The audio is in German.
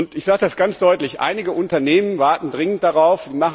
Ich sage es ganz deutlich Einige Unternehmen warten dringend darauf.